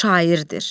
Şairdir.